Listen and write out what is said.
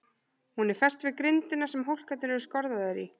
Hún er fest við grindina sem hólkarnir eru skorðaðir í.